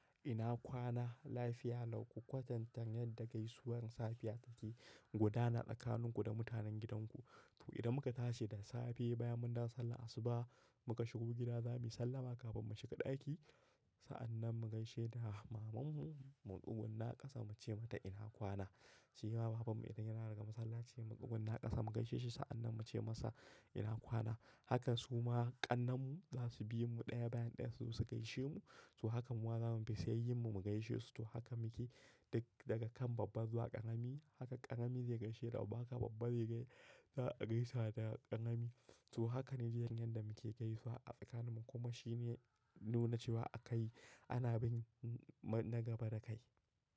Ina kwana, lafiya lau, ku kwatanta yadda gaisuwar safiya take gudana tsakaninku da mutanen gidanku. To, idan muka tashi da safe bayan mun dawo sallar asuba muka shigo gida zamuyi sallama kafin mu shiga ɗaki. Sa'annan mu gaishe da mamanmu, mu tsugunna ƙasa muce mata ina kwana. Sai mahaifin mu idan ya dawo daga masallaci, mu tsugunna ƙasa mu gaishe shi sa'annan mu ce masa ina kwana. Haka suma ƙannenmu za su bi mu ɗaya bayan ɗaya su gaishe mu. To haka muma za mu bi su yayyin mu mu gaishe su. To haka muke duk, daga kan babba zuwa ƙarami. Haka ƙarami zai gaishe da babba haka babba zai gaisa da ƙarami. To haka ne dai yadda muke gaisuwa a tsakaninmu kuma shike nuna cewa akai ana bin na gaba dakai.